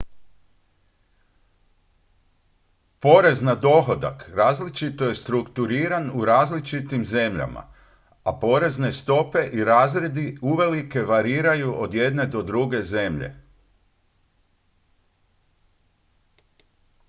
porez na dohodak različito je strukturiran u različitim zemljama a porezne stope i razredi uvelike variraju od jedne do druge zemlje